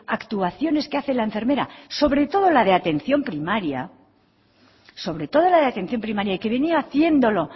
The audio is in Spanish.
actuaciones que hace la enfermera sobre todo la de atención primaria sobre todo la de atención primaria y que venía haciéndolo